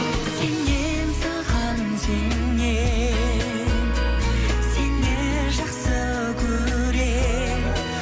сенемін саған сенемін сені жақсы көремін